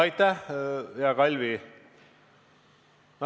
Aitäh, hea Kalvi!